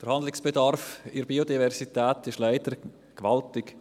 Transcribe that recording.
Der Handlungsbedarf bei der Biodiversität ist leider gewaltig.